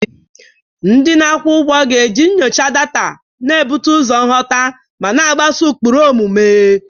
Ndị na-akwụ ụgwọ ga-eji nyocha data, na-ebute ụzọ nghọta, ma na-agbaso ụkpụrụ omume.